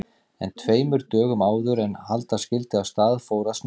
En tveimur dögum áður en halda skyldi af stað fór að snjóa.